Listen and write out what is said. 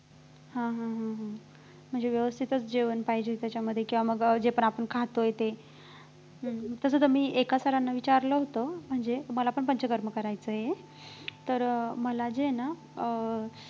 हा हा हा हा म्हणजे व्यवस्थितच जेवण पाहिजे त्याच्यामध्ये किंवा मग जे पण आपण खातोय ते हम्म तसं ते मी एका sir ना विचारलं होतं म्हणजे मला पण पंचकर्म करायचं आहे तर मला जे आहे ना अं